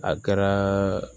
A kɛra